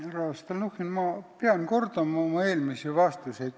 Härra Stalnuhhin, ma pean kordama oma eelmisi vastuseid.